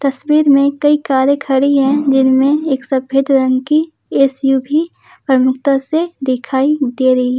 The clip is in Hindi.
में कई कारे खड़ी है जिनमे में एक सफेद रंग की एस_यू_वी प्रमुखता से दिखाई दे रही है।